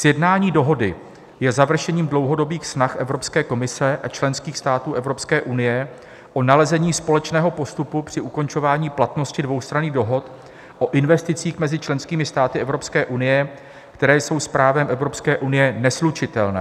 Sjednání dohody je završením dlouhodobých snah Evropské komise a členských států Evropské unie o nalezení společného postupu při ukončování platnosti dvoustranných dohod o investicích mezi členskými státy Evropské unie, které jsou s právem Evropské unie neslučitelné.